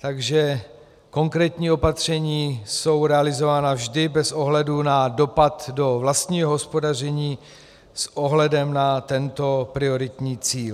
takže konkrétní opatření jsou realizována vždy bez ohledu na dopad do vlastního hospodaření s ohledem na tento prioritní cíl.